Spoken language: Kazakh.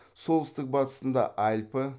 солтүстік батысында альпі